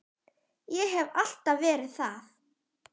Ég hef alltaf verið það.